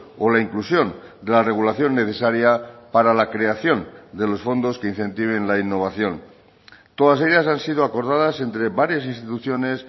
o la inclusión de la regulación necesaria para la creación de los fondos que incentiven la innovación todas ellas han sido acordadas entre varias instituciones